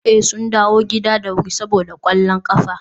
eh, sun dawo gida da wuri saboda kwallon kafa